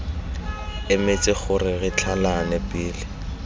emetse gore re tlhalane pele